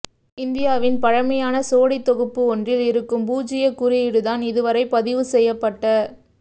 இந்தியாவின் பழமையான சுவடித் தொகுப்பு ஒன்றில் இருக்கும் பூஜ்ஜியக் குறியீடுதான் இதுவரை பதிவு செய்யப்பட்ட